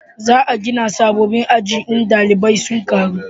za a gina sabobbin aji in dalibai sun karu